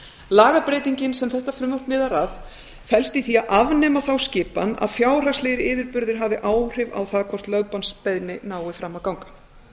lagabreytingin sem þetta frumvarp miðar að felst í því að afnema þá skipan að fjárhagslegir yfirburðir hafi áhrif á það hvort lögbannsbeiðni nái fram að ganga